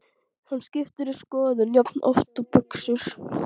Hann skiptir um skoðun jafnoft og buxur.